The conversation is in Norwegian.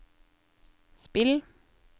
spill